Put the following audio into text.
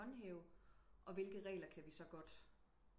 Håndhæve og hvilke regler kan vi så godt